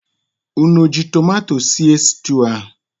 Ụnụ o ji tomato esige stuu ahụ?